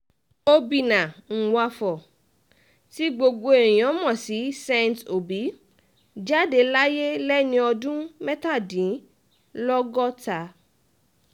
obìnnà nwafor tí gbogbo èèyàn mọ̀ sí saint obi jáde láyé lẹ́ni ọdún mẹ́tàdínlọ́gọ́ta